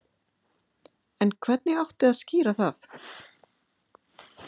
En hvernig átti að skýra það?